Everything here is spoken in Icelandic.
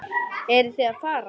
Eruð þið að fara?